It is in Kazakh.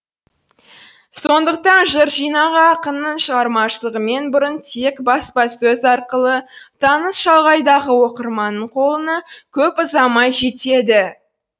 сондықтан жыр жинағы ақынның шығармашылығымен бұрын тек баспасөз арқылы таныс шалғайдағы оқырманның қолына көп ұзамай жетеді